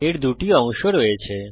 এর দুটি অংশ রয়েছে